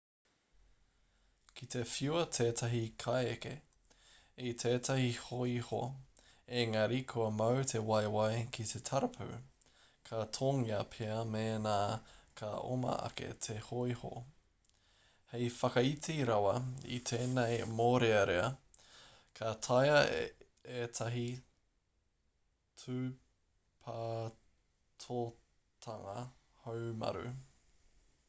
ki te whiua tētahi kaieke i tētahi hōiho engari kua mau te waewae ki te tarapu ka tōngia pea mēnā ka oma ake te hōiho hei whakaiti rawa i tēnei mōrearea ka taea ētahi tūpatotanga haumaru